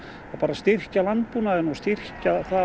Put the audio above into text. styrkja landbúnaðinn og styrkja það